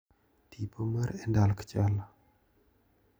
Tipo mar Endalk Chala.